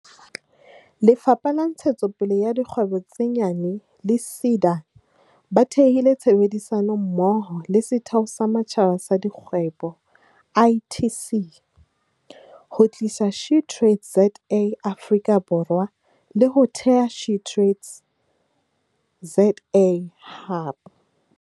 Lefapha la Ntshetsopele ya Dikgwebo tse Nyane le SEDA ba thehile tshebedisano mmoho le Setheo sa Matjhaba sa Dikgwebo, ITC, ho tlisa SheTradesZA Afrika Borwa, le ho theha SheTradesZA Hub.